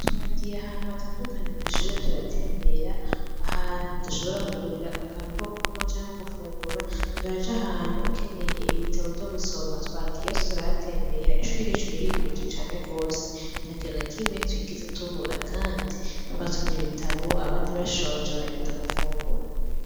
Twagiye ahantu hatandukanye kw'ishure turatembera, ahantu dushobora kugurira akantu ko kunwa canke gufungura, turaja ahantu ukeneye ibitabo vyo gusoma twagiye hose turahatembera, ishuri ryacu ririkwije cane gose. Nta kintu na kimwe twigeze tubura, kandi twasomye ibitabo abandi bashonje baragenda gufungura.